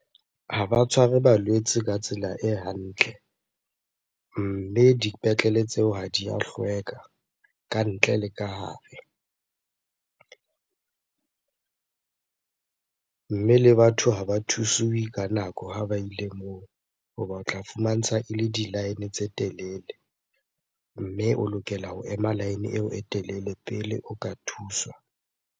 Ha ba tshware balwetse ka tsela e hantle. Mme dipetlele tseo ha di a hlweka ka ntle le ka hare. Mme le batho ha ba thusuwe ka nako ha ba ile moo hoba otla fumantsha ele di-line tse telele. Mme o lokela ho ema line eo e telele pele o ka thuswa.